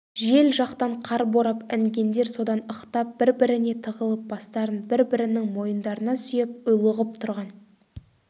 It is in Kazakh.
жел жақтан қар борап інгендер содан ықтап бір-біріне тығылып бастарын бір-бірінің мойындарына сүйеп ұйлығып тұрған